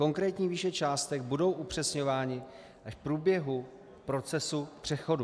Konkrétní výše částek budou upřesňovány až v průběhu procesu přechodu.